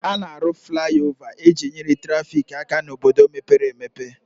A na-arụ fliova e ji nyere traffic aka n'obodo mepere emepe